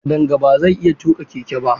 Kadanga ba zai iya tuƙa keke ba.